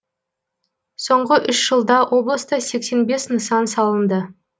соңғы үш жылда облыста сексен бес нысан салынды